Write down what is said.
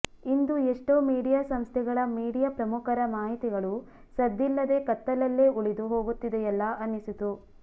ಇಂದು ಎಷ್ಟೋ ಮೀಡಿಯಾ ಸಂಸ್ಥೆಗಳ ಮೀಡಿಯಾ ಪ್ರಮುಖರ ಮಾಹಿತಿಗಳು ಸದ್ದಿಲ್ಲದೆ ಕತ್ತಲಲ್ಲೇ ಉಳಿದು ಹೋಗುತ್ತಿದೆಯಲ್ಲಾ ಅನಿಸಿತು